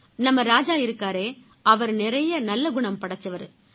நம்ம ராஜா இருக்காரே அவரு நிறைய நல்ல குணம் படைச்சவரு